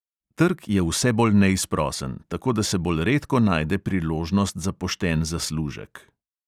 Trg je vse bolj neizprosen, tako da se bolj redko najde priložnost za pošten zaslužek.